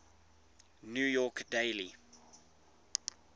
new york daily